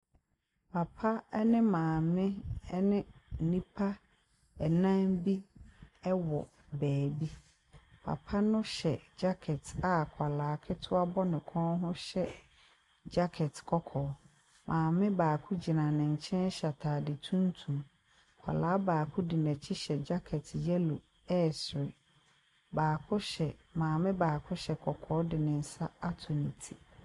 Papa ne maame ne nnipa nnan bi wɔ beebi. Papa no hyɛ jacket a akwadaa ketewa bɔ ne kɔn hyɛ ke jacket kɔkɔɔ. Maame baako gyina nenkyɛn hyɛ ataade tuntum. Akwadaa baako di n’akyi hyɛ jacket yellow ɛresere. Baako hyɛ maame baako hyɛ kɔkɔɔ de ne nsa ato ne ti.